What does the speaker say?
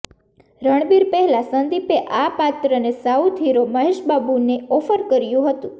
રણબીર પહેલા સંદીપે આ પાત્રને સાઉથ હીરો મહેશબાબુને ઓફર કર્યું હતું